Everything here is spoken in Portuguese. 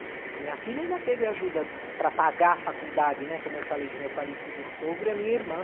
A minha filha ainda teve ajuda para pagar a faculdade, né, como eu falei, do meu falecido sogro e a minha irmã.